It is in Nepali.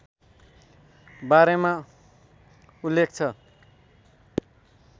बारेमा उल्लेख छ